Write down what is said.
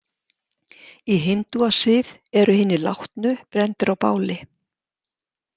Í hindúasið eru hinir látnu brenndir á báli.